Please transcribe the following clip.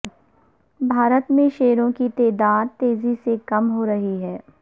بھارت میں شیروں کی تعداد تیزی سے کم ہورہی ہے